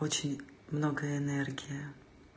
очень много энергии